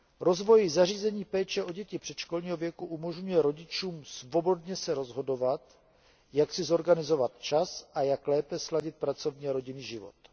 Rozvoj zařízení péče o děti předškolního věku umožňuje rodičům svobodně se rozhodovat, jak si zorganizovat čas a jak lépe sladit pracovní a rodinný život.